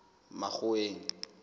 makgoweng